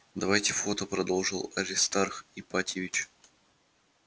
давайте фото продолжил аристарх ипатьевич